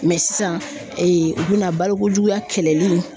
sisan u bɛna balokojuguya kɛlɛli